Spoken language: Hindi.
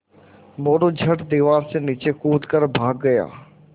मोरू झट दीवार से नीचे कूद कर भाग गया